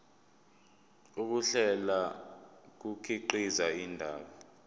ukuhlela kukhiqiza indaba